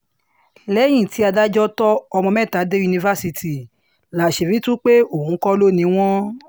lẹ́yìn tí adájọ́ tó ọmọ mẹ́ta dé yunifásitì láṣìírí tú pé òun kọ́ ló ni wọ́n